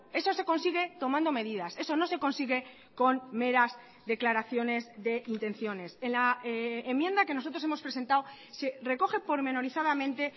eso se consigue tomando medidas eso no se consigue con meras declaraciones de intenciones en la enmienda que nosotros hemos presentado se recoge pormenorizadamente